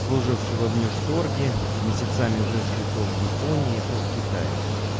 служившего внешторге месяцами живший то в японии то в китае